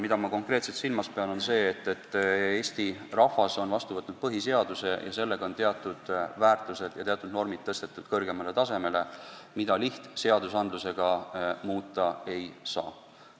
Mida ma konkreetselt silmas pean, on see, et Eesti rahvas on vastu võtnud põhiseaduse ja sellega on teatud väärtused ja teatud normid tõstetud kõrgemale tasemele, mida lihtseadustega muuta ei saa.